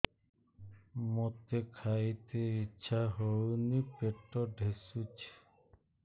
ମୋତେ ଖାଇତେ ଇଚ୍ଛା ହଉନି ପେଟ ଠେସୁଛି